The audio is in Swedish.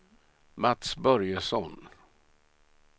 Mats Börjesson